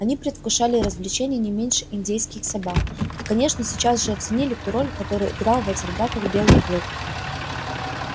они предвкушали развлечение не меньше индейских собак и конечно сейчас же оценили ту роль какую играл в этих драках белый клык